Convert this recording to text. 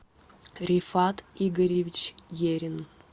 рифат игоревич ерин